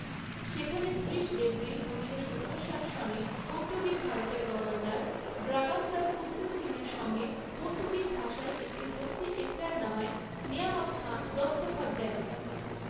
সেখানে ত্রিশ এপ্রিল পনেরোশো ঊনষাট সনে পর্তুগিজ ভারতের গভর্নর ব্রাগান্সার কুস্তুন্তীনের সঙ্গে পর্তুগিজ ভাষায় একটি দোস্তী একরারনামায় নেয়ামত খাঁ দস্তখৎ দেন।